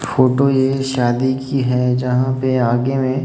photo ये शादी की है जहां पे आगे में--